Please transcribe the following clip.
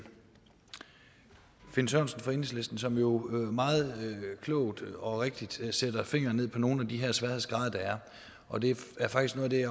finn sørensen fra enhedslisten som jo meget klogt og rigtigt sætter fingeren på nogle af de sværhedsgrader der er og det er faktisk noget af det